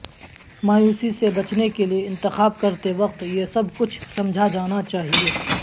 مایوسی سے بچنے کے لئے انتخاب کرتے وقت یہ سب کچھ سمجھا جانا چاہئے